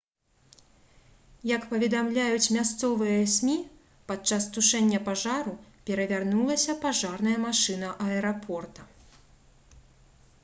як паведамляюць мясцовыя смі падчас тушэння пажару перавярнулася пажарная машына аэрапорта